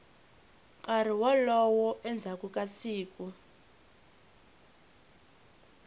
nkarhi wolowo endzhaku ka siku